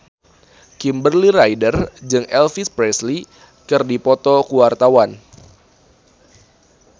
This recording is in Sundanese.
Kimberly Ryder jeung Elvis Presley keur dipoto ku wartawan